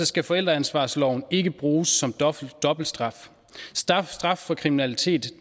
skal forældreansvarsloven ikke bruges som dobbelt straf straf straf for kriminalitet